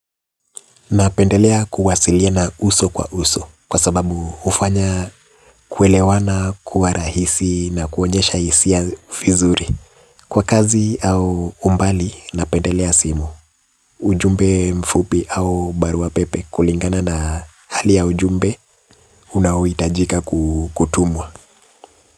Napendelea kuwasiliana uso kwa uso kwa sababu hufanya kuelewana kwa rahisi na kuonyesha hisia fizuri. Kwa kazi au umbali napendelea simu. Ujumbe mfupi au barua pepe kulingana na hali ya ujumbe unaohitajika kutumwa.